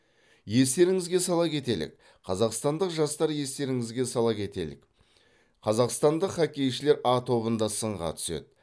естеріңізге сала кетелік қазақстандық жастар естеріңізге сала кетелік қазақстандық хоккейшілер а тобында сынға түседі